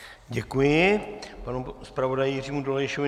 Děkuji panu zpravodaji Jiřímu Dolejšovi.